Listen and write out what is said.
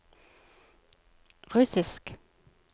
russisk